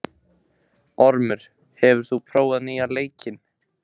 Ormur, hefur þú prófað nýja leikinn?